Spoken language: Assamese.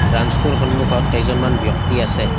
ব্ৰাঞ্চ টোৰ সন্মুখত কেইজনমান ব্যক্তি আছে।